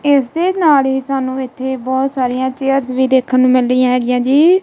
ਇਸ ਦੇ ਨਾਲ ਹੀ ਸਾਨੂੰ ਇਥੇ ਬਹੁਤ ਸਾਰੀਆਂ ਚੇਅਰਸ ਵੀ ਦੇਖਣ ਨੂੰ ਮਿਲ ਰਹੀਆਂ ਹੈਗੀਆਂ ਜੀ।